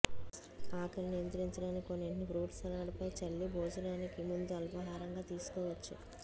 ఆకలిని నియంత్రించడానికి కొన్నింటిని ఫ్రూట్ సలాడ్ పై చల్లి భోజనానికి ముందు అల్పాహారంగా తీసుకోవచ్చు